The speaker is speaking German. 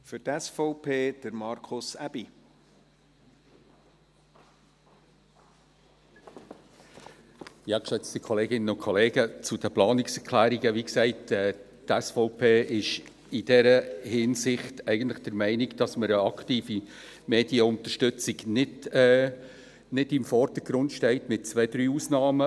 Zu den Planungserklärungen: Wie gesagt, ist die SVP in dieser Hinsicht eher der Meinung, dass eine aktive Medienunterstützung nicht im Vordergrund steht, mit zwei, drei Ausnahmen.